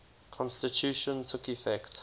constitution took effect